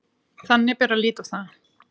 Þannig bera að líta á það